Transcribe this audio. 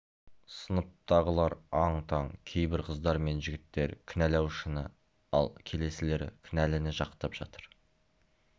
сыныптағылар аң-таң кейбір қыздар мен жігіттер кінәлаушыны ал келесілері кінәліні жақтап жатыр